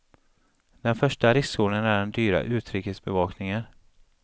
Den första riskzonen är den dyra utrikesbevakningen.